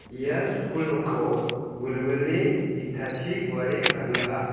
ia skul nokko wilwile itachi guare kadulaha.